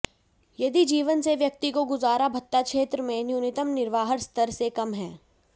यदि जीवन से व्यक्ति को गुजारा भत्ता क्षेत्र में न्यूनतम निर्वाह स्तर से कम है